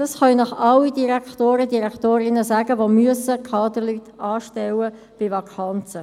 Das können Ihnen alle Direktorinnen und Direktoren bestätigen, die Kaderleute bei Vakanzen anstellen müssen.